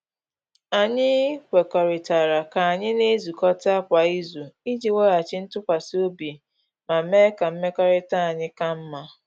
Anyị kwekuritala ka anyị na-ezukọta kwa izu iji weghachi ntụkwasị obi ma mee ka mmekọrịta anyị ka mma.